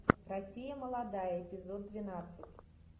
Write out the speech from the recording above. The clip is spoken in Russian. россия молодая эпизод двенадцать